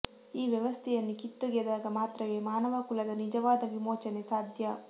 ಈ ವ್ಯವಸ್ಥೆಯನ್ನು ಕಿತ್ತೊಗೆದಾಗ ಮಾತ್ರವೇ ಮಾನವ ಕುಲದ ನಿಜವಾದ ವಿಮೋಚನೆ ಸಾಧ್ಯ